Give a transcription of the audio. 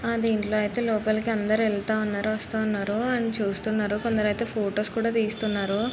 దీనిలో యితే లోపలికి అందరు వెళ్తూ ఉన్నారు వస్తున్నారు అన్ని చూస్తున్నారు కొందరు యితే ఫొటోస్ తీస్తున్నారు .